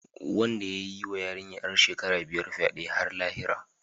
Wanda ya yi wa yarinya ‘yar shekara biyar fyade har lahira.